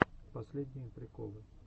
последние приколы